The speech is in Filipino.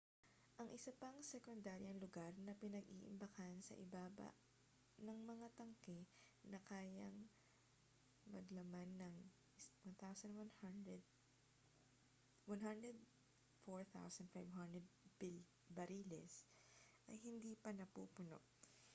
ang isa pang sekundaryang lugar na pinag-iimbakan sa ibaba ng mga tangke na kayang maglaman ng 104,500 bariles ay hindi pa napupuno